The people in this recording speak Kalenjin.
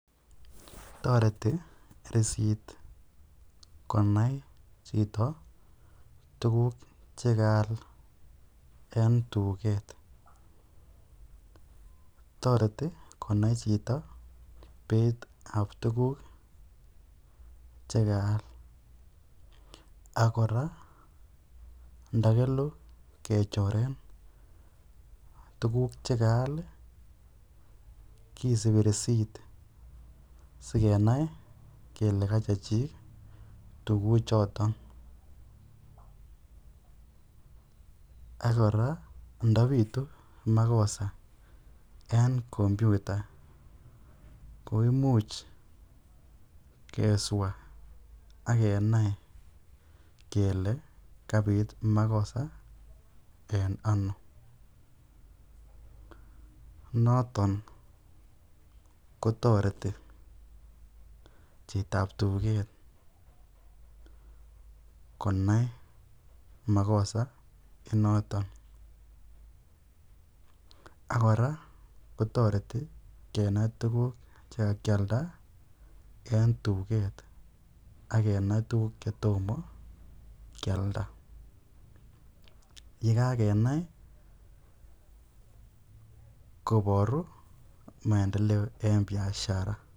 Toreti risitit konai chito tukuk chekaal en tuget toreti konai chito beitab tukuk chekaal akora ndakelu kechoren tukuk chekaal kesipi risit sikenai kele kachechik tukuchoton ak kora ndabitu makosa en komputa ko imuch keswa akenai kele kabit makosa en ano noton kotoreti chitoab tuget konai makosanoto ak kora kotoreti kenai tukuk chekakialda en tuget akenai tukuk chetomo kialda yekakenai koboru maendeleo en biashara